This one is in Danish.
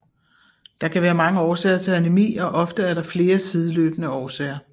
Der kan være mange årsager til anæmi og ofte er der flere sideløbende årsager